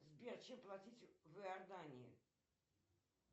сбер чем платить в иордании